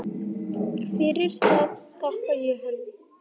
Fyrir það þakka ég henni.